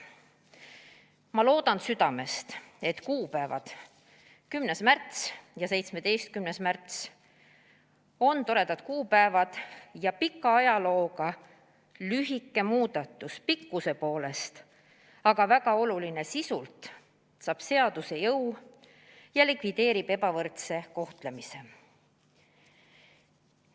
" Ma loodan südamest, et kuupäevad 10. märts ja 17. märts on toredad kuupäevad ja see pika ajalooga, teksti pikkuselt lühike, aga sisult väga oluline eelnõu saab seaduse jõu ja likvideerib ebavõrdse kohtlemise.